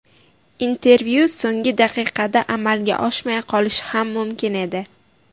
Intervyu so‘nggi daqiqada amalga oshmay qolishi ham mumkin edi.